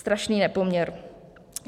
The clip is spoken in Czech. Strašný nepoměr.